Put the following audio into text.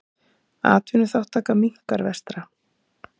Atvinnuþátttaka minnkar vestra